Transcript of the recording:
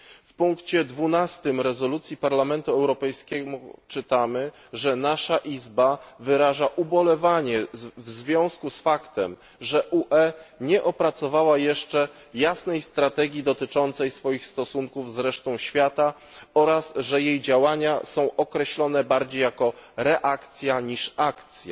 W punkcie 12 rezolucji Parlamentu Europejskiego czytamy, że nasza izba wyraża ubolewanie w związku z faktem, że UE nie opracowała jeszcze jasnej strategii dotyczącej stosunków z resztą świata oraz że jej działania są określone bardziej jako reakcja niż akcja.